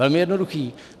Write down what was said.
Velmi jednoduché.